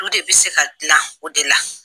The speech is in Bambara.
Du de bɛ se ka dilan o de la.